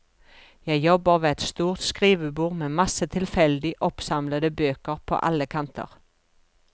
Jeg jobber ved et stort skrivebord med masse tilfeldig oppsamlede bøker på alle kanter.